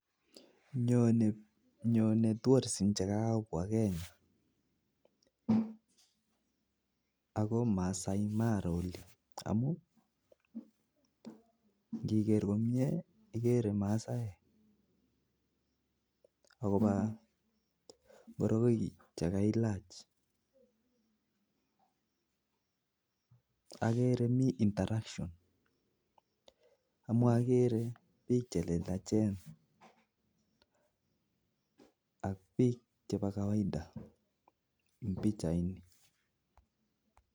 Nyonei bik chenyikokertoi eng Kenya akomii Masai imara amu ngoroik akomii interaction